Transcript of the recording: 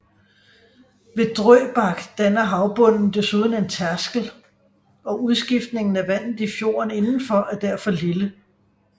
Ved Drøbak danner havbunden desuden en tærskel og udskiftningen af vandet i fjorden indenfor er derfor lille